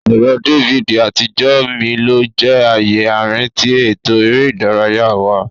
Ẹrọ DVD atijọ mí lo jẹ ààyè àárín tí eto eré ìdárayá wá.